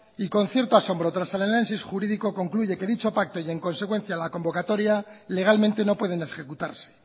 y con cierto asombro el análisis jurídico concluye que dicho pacto y en consecuencia la convocatoria legalmente no pueden ejecutarse